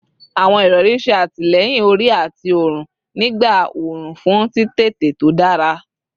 Awọn irọri ṣe atilẹyin ori ati ọrun nigba orun fun titete to dara